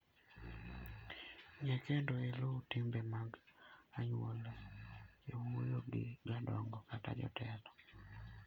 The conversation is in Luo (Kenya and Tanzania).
Ng'e kendo iluw timbe mag anyuola e wuoyo gi jodongo kata jotelo.